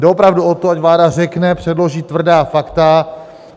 Jde opravdu o to, ať vláda řekne, předloží tvrdá fakta.